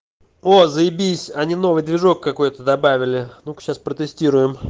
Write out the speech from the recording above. о заебись они новый движок какой-то добавили ну-ка сейчас протестируем